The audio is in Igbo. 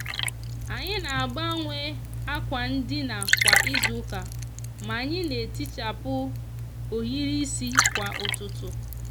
anyi n'agbanwe akwa ndina kwa izuuka ma anyi n'etichapu ohiri isi kwa ututu.